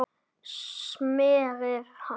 smérið rann